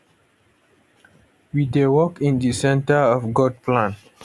we dey work in di centre of god plan